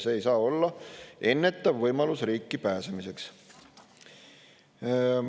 See ei saa olla ennetav võimalus riiki pääsemiseks.